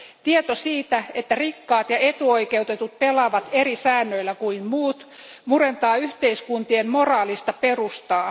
Tieto siitä, että rikkaat ja etuoikeutetut pelaavat eri säännöillä kuin muut, murentaa yhteiskuntien moraalista perustaa.